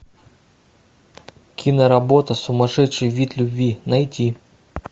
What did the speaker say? киноработа сумасшедший вид любви найти